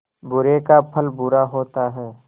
बुरे का फल बुरा होता है